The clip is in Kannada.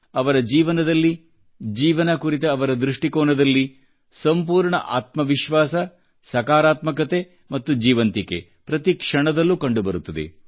ಅವರ ಜೀವನದಲ್ಲಿ ಜೀವನ ಕುರಿತ ಅವರ ದೃಷ್ಟಿಕೋನದಲ್ಲಿ ಸಂಪೂರ್ಣ ಆತ್ಮವಿಶ್ವಾಸ ಸಕಾರಾತ್ಮಕತೆ ಮತ್ತು ಜೀವಂತಿಕೆ ಪ್ರತಿಕ್ಷಣದಲ್ಲೂ ಕಂಡು ಬರುತ್ತದೆ